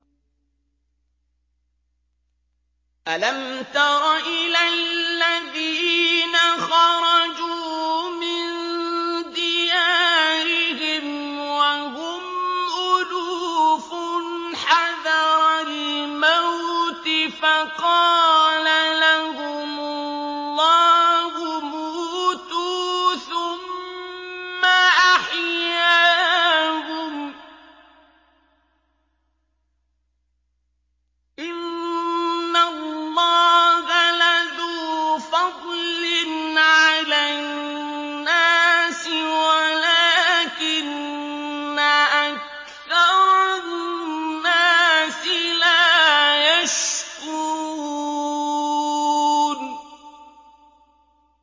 ۞ أَلَمْ تَرَ إِلَى الَّذِينَ خَرَجُوا مِن دِيَارِهِمْ وَهُمْ أُلُوفٌ حَذَرَ الْمَوْتِ فَقَالَ لَهُمُ اللَّهُ مُوتُوا ثُمَّ أَحْيَاهُمْ ۚ إِنَّ اللَّهَ لَذُو فَضْلٍ عَلَى النَّاسِ وَلَٰكِنَّ أَكْثَرَ النَّاسِ لَا يَشْكُرُونَ